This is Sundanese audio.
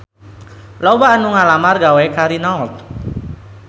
Loba anu ngalamar gawe ka Renault